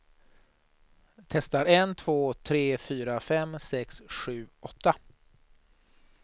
Testar en två tre fyra fem sex sju åtta.